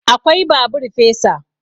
Akwai babur fesa